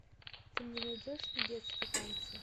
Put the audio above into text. ты мне найдешь недетские танцы